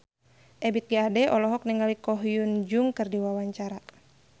Ebith G. Ade olohok ningali Ko Hyun Jung keur diwawancara